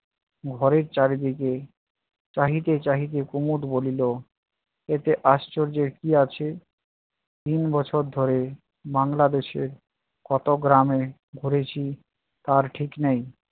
ঘরের চারিদিকে চাহিতে চাহিতে কুমদ বলিল এতে আশ্চর্যের কী আছে? তিন বছর ধরে বাংলাদেশের কত গ্রাম ঘুরেছি তার ঠিক নেই